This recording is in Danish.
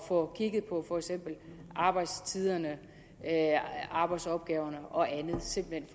få kigget på for eksempel arbejdstiderne arbejdsopgaverne og andet simpelt